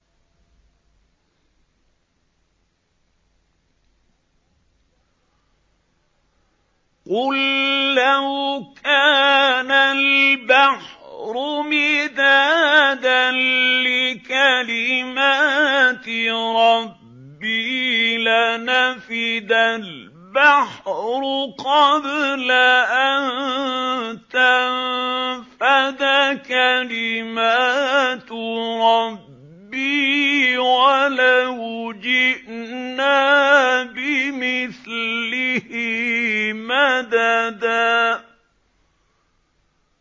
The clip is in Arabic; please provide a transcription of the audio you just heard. قُل لَّوْ كَانَ الْبَحْرُ مِدَادًا لِّكَلِمَاتِ رَبِّي لَنَفِدَ الْبَحْرُ قَبْلَ أَن تَنفَدَ كَلِمَاتُ رَبِّي وَلَوْ جِئْنَا بِمِثْلِهِ مَدَدًا